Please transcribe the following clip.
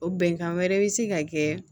O bɛnkan wɛrɛ bɛ se ka kɛ